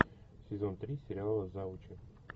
сезон три сериала завучи